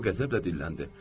O qəzəblə dilləndi.